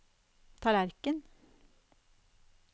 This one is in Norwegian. tallerken